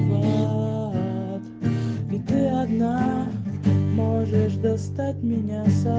ты одна можешь достать меня